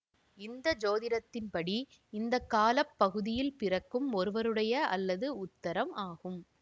இந்திய சோதிடத்தின்படி இந்த கால பகுதியில் பிறக்கும் ஒருவருடைய அல்லது உத்தரம் ஆகும்